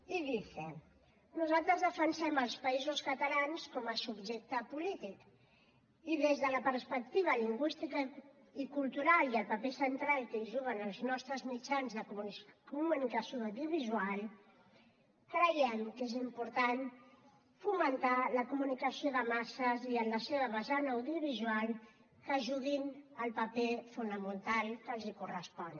y dice nosaltres defensem els països catalans com a subjecte polític i des de la perspectiva lingüística i cultural i el paper central que hi juguen els nostres mitjans de comunicació audiovisual creiem que és important fomentar la comunicació de masses i en la seva vessant audiovisual que juguin el paper fonamental que els correspon